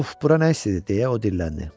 Uf, bura nə istidir deyə o dilləndi.